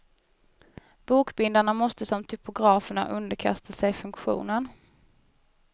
Bokbindarna måste som typograferna underkasta sig funktionen.